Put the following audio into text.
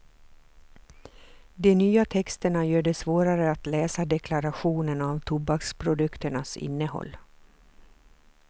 De nya texterna gör det svårare att läsa deklarationen av tobaksprodukternas innehåll.